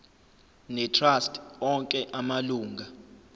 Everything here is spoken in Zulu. netrust onke amalunga